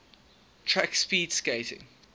track speed skating